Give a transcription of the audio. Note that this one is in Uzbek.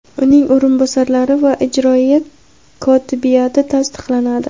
uning o‘rinbosarlari va ijroiya kotibiyati tasdiqlanadi.